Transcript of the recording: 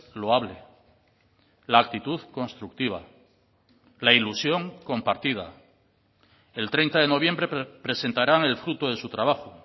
loable la actitud constructiva la ilusión compartida el treinta de noviembre presentarán el fruto de su trabajo